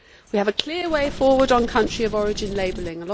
We have a clear forward on country of origin labelling.